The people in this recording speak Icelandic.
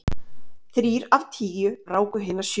Þrír af tíu ráku hina sjö.